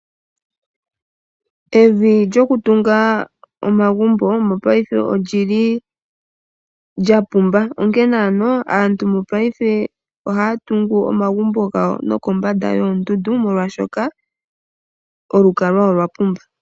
Evi lyokutunga omagumbo mongaashingeyi olyi li lya pumba onkene aantu mongaashingeyi oha ya tungu omagumbo gawo nokombanda yoondundu molwashoka olukalwa olwa pumba.